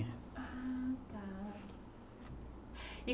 Ah, tá.